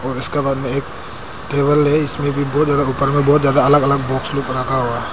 और उसके बगल मे एक टेबल है इसमें भी बहुत ज्यादा ऊपर में बहुत ज्यादा अलग अलग बॉक्स लोग रखा हुआ है।